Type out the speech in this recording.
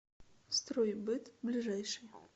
стройбыт ближайший